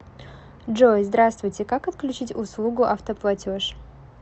джой здравствуйте как отключить услугу автоплатеж